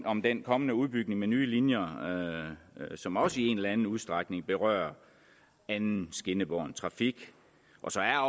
om den kommende udbygning med nye linjer som også i en eller anden udstrækning berører anden skinnebåren trafik og så er